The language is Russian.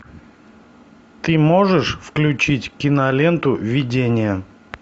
ты можешь включить киноленту видение